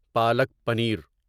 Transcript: palak paneer